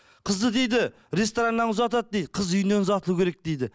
қызды дейді рестораннан ұзатады дейді қыз үйінен ұзатылу керек дейді